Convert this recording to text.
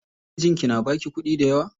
Mijinki na baki kuɗi dayawa?